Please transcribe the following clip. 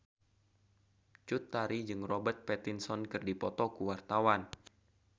Cut Tari jeung Robert Pattinson keur dipoto ku wartawan